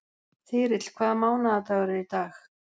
Þyrill, hvaða mánaðardagur er í dag?